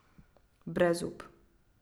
Brezup.